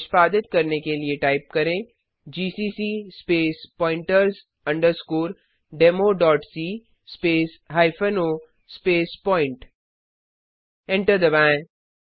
निष्पादित करने के लिए टाइप करेंgcc space pointers underscore demo dot C space hyphen O space point enter दबाएँ